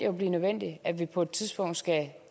jo blive nødvendigt at vi på et tidspunkt skal